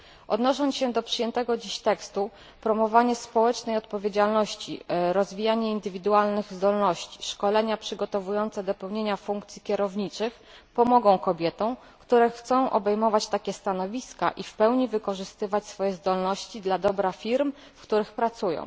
Odnosząc się do przyjętego dziś tekstu, promowanie społecznej odpowiedzialności, rozwijanie indywidualnych zdolności, szkolenia przygotowujące do pełnienia funkcji kierowniczych pomogą kobietom, które chcą obejmować takie stanowiska i w pełni wykorzystywać swoje zdolności dla dobra firm, w których pracują.